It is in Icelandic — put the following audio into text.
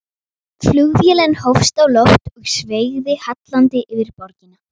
Flugvélin hófst á loft og sveigði hallandi yfir borgina.